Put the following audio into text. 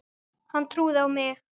Hún trúði á mig.